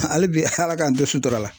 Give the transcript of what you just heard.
Hali bi Ala k'an to sutura la .